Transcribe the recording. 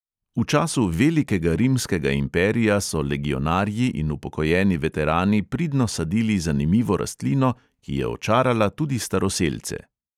V času velikega rimskega imperija so legionarji in upokojeni veterani pridno sadili zanimivo rastlino, ki je očarala tudi staroselce.